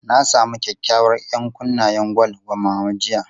Na samu kyakykyawar 'yankunnen gwal wa Mama jiya.